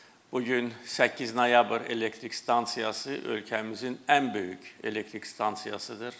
Bu gün 8 noyabr elektrik stansiyası ölkəmizin ən böyük elektrik stansiyasıdır.